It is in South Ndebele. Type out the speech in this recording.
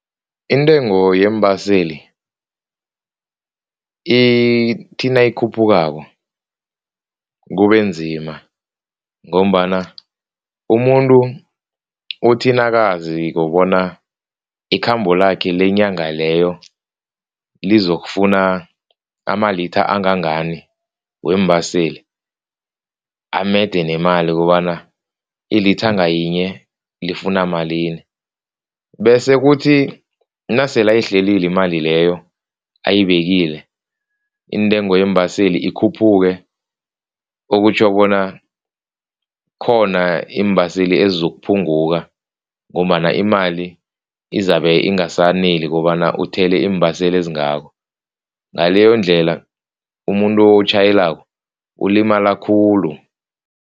Intengo yeembaseli ithi nayikhuphukako kubenzima ngombana umuntu uthi nakaziko bona ikhambo lakhe lenyanga leyo lizokufuna amalitha angangani weembaseli, amede nemali kobana ilitha ngayinye lifuna malini bese kuthi nasele ayihlelile imali leyo ayibekile, intengo yeembaseli ikhuphuke okutjho bona khona iimbaseli ezozokuphunguka ngombana imali izabe ingasaneli kobana uthele iimbaseli ezingako, ngaleyondlela umuntu otjhayelako ulimala khulu.